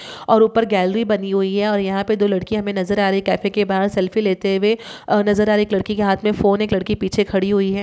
और ऊपर गैलरी बनी हुई है और यहाँ पर दो लड़कियां हमे नजर आ रही है कैफे के बाहर सेल्फी लेते हुए और नजर आ रही है। एक लडकी के हाथ में फोन है। एक लड़की पीछे खड़ी हुई है।